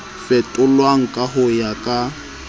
fetolwang ka ho ya ka